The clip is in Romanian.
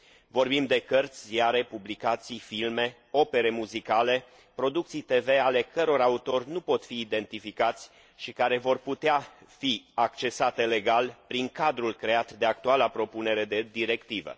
Vorbim de cărți, ziare, publicații, filme, opere muzicale și producții TV ale căror autori nu pot fi identificați și care vor putea fi accesate legal prin cadrul creat de actuala propunere de directivă.